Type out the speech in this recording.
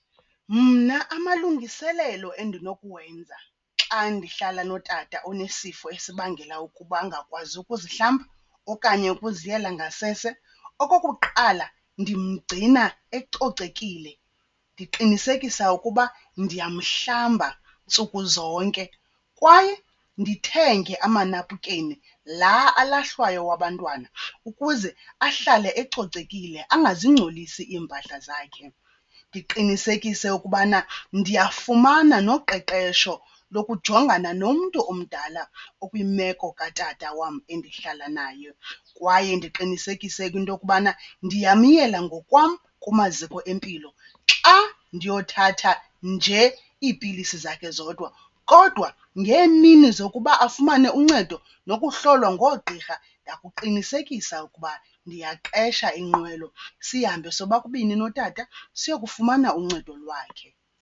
Mna amalungiselelo endinokuwenza xa ndihlala notata onesifo esibangela ukuba angakwazi ukuzihlamba okanye ukuziyela ngasese, okokuqala, ndimgcina ecocekile. Ndiqinisekisa ukuba ndiyamhlamba ntsuku zonke kwaye ndithenge amanapukeni laa alahlwayo wabantwana ukuze ahlale ecocekile angazigcolisi iimpahla zakhe. Ndiqinisekise ukubana ndiyafumana noqeqesho lokujongana nomntu omdala okwimeko katata wam endihlala naye kwaye ndiqinisekise ke into yokubana ndiyamyela ngokwam kumaziko empilo xa ndiyothatha njee iipilisi zakhe zodwa. Kodwa ngeemini zokuba afumane uncedo nokuhlolwa ngoogqirha ndakuqinisekisa ukuba ndiyaqesha inqwelo sihambe sobabini notata siyokufumana uncedo lwakhe.